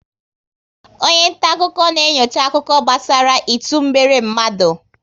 Onye nta akụkọ na enyocha akụkọ gbasara ịtụ mgbere mmadụ